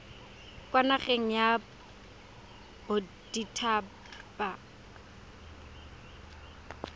kwa nageng ya bodit haba